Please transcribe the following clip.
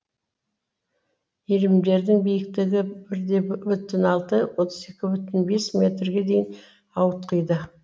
иірімдердің биіктігі бір де бүтін алты отыз екі бүтін бес метрге дейін ауытқиды